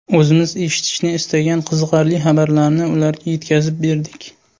O‘zimiz eshitishni istagan qiziqarli xabarlarni ularga yetkazib berdik.